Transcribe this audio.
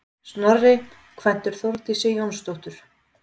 Snorri kvæntur Þórdísi Jónsdóttur.